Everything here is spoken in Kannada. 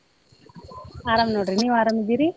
ಅರಾಮ್ ನೋಡ್ರಿ ನೀವ್ ಅರಾಮದಿರಿ?